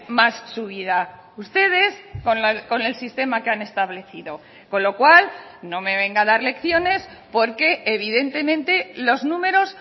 más subida ustedes con el sistema que han establecido con lo cual no me venga a dar lecciones porque evidentemente los números